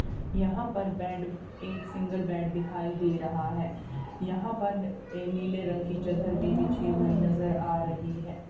यहां पर बेड एक सिंगल बेड दिखाई दे रहा है यहां पर ये नीले रंग की चद्दर भी बिछी हुई नजर आ रही है।